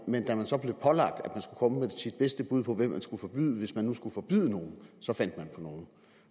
man da man så blev pålagt at komme med sit bedste bud på hvilken skulle forbyde hvis man nu skulle forbyde nogen så fandt på nogle